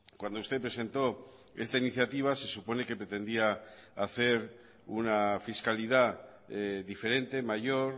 cuando usted presentó esta iniciativa se supone que pretendía hacer una fiscalidad diferente mayor